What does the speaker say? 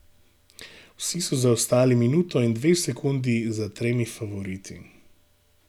Vsi so zaostali minuto in dve sekundi za tremi favoriti.